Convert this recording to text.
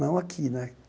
Não aqui né.